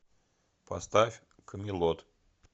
поставь камелот